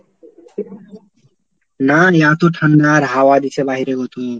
নারে এত ঠান্ডা আর হাওয়া দিছে বাইরে অতো,